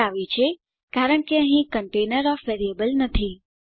તે આવી છે કારણ કે અહીં કન્ટેનર ઓએફ વેરિએબલ નથી